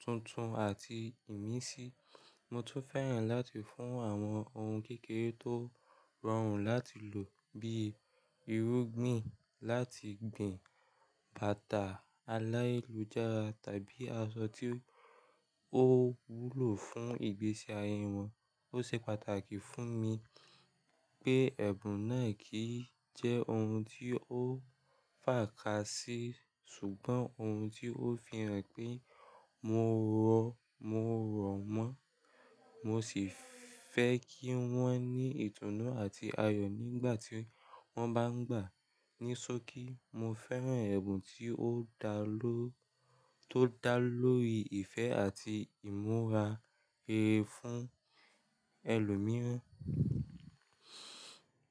tuntun àti ìmísí. Mo tún fẹ́ràn láti fún àwọn ohun kékeré tó rọrùn láti lò bíi irúgbìn láti gbin, bàtà aláìlújárà tàbí aṣọ tí ó wúlò fún ìgbésí ayé wọn. Ó ṣe pàtàkì fún mi pé ẹ̀bùn náà kì í jẹ́ ohun tí ó fàkásí ṣùgbọ́n ohun tí ó fi hàn pé mo rọ mo rọ̀ mọ́. Mo sì fẹ́ kí wọ́n ní ìtùnú àti ayọ̀ nígbà tí wọ́n bá ń gbà á ní ṣókí. Mo fẹ́ràn ẹ̀bùn tí ó dá ló tó dá lórí ìfẹ́ àti ìmúra rere fún ẹlòmíràn.